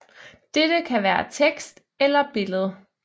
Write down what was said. Dette kan være tekst eller billede